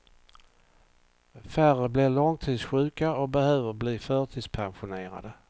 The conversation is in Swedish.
Färre blir långtidssjuka och behöver bli förtidspensionerade.